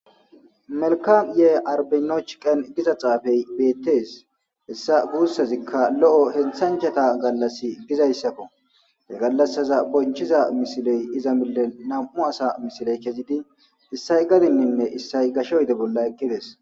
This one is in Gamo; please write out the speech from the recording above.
melkam yee arbeno chiqen giza xaafey beettees hessa guussazikka lo7o henthanchata gallas gizayssako he gallassaza bonchiza misiley iza mille nam7u asa misiley kezidi issay gadinninne issay gasho yide bolla ekkides